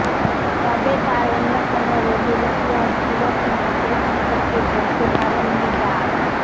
তবে তার অন্যকোন রোগের ইতিহাস ছিল কিনা সে সম্পর্কে বলতে পারেননি ডা